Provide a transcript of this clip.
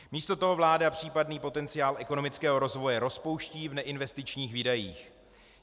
Místo toho vláda případný potenciál ekonomického rozvoje rozpouští v neinvestičních výdajích.